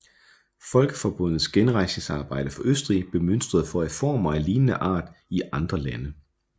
Folkeforbundets genrejsningsarbejde for Østrig blev mønstret for reformer af lignende art i andre lande